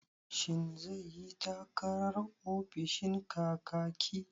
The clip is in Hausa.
Shin zai yi takarar ofishin Kakaki?